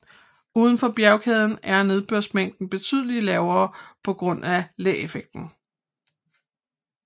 Udenfor bjergkæden er nedbørsmængden betydeligt lavere på grund af læeffekten